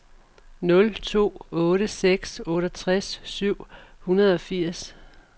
nul to otte seks otteogtres syv hundrede og firs